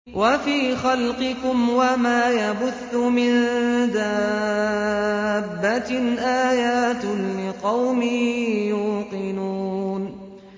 وَفِي خَلْقِكُمْ وَمَا يَبُثُّ مِن دَابَّةٍ آيَاتٌ لِّقَوْمٍ يُوقِنُونَ